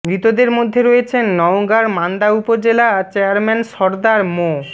মৃতদের মধ্যে রয়েছেন নওগাঁর মান্দা উপজেলা চেয়ারম্যান সরদার মো